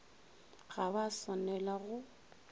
ga ba a swanela go